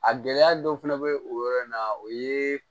A gɛlɛya dɔ fana bɛ o yɔrɔ in na o ye